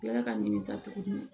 Kila ka ɲini sa tugun